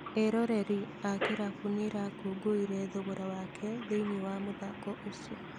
Eroreri a kĩrabu nĩrakũngũĩire thogora wake thĩĩni wa mũthako ũc